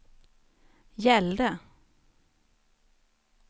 gällde